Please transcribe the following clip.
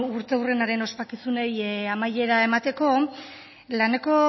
urteurrenaren ospakizunei amaiera emateko laneko